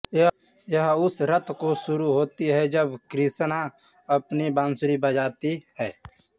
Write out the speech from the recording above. यह उस रत को शुरु होति है जब क्रिशना अपनी बान्सुरि बजाति है